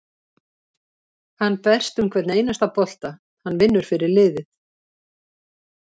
Hann berst um hvern einasta bolta, hann vinnur fyrir liðið.